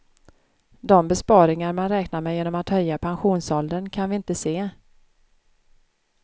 De besparingar man räknar med genom att höja pensionsåldern kan vi inte se.